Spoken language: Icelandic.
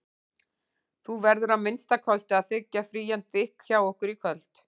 Þú verður að minnsta kosti að þiggja frían drykk hjá okkur í kvöld.